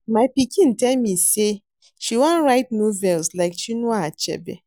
My pikin tell me say she wan write novels like Chinua Achebe